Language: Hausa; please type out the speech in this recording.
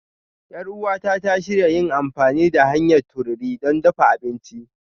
Yar uwata ta shirya yin amfani da hanyar tururi don dafa abinci.